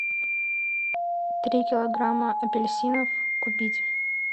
три килограмма апельсинов купить